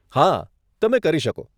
હા, તમે કરી શકો.